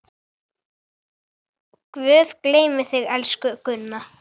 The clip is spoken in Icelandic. Guð geymi þig, elsku Gunna.